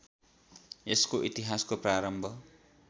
यसको इतिहासको प्रारम्भ